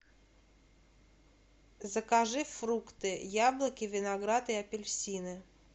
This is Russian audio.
закажи фрукты яблоки виноград и апельсины